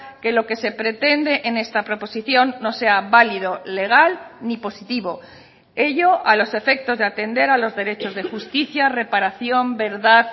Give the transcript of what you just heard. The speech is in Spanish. que lo que se pretende en esta proposición no sea válido legal ni positivo ello a los efectos de atender a los derechos de justicia reparación verdad